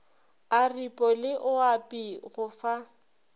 aripo le oapi go fa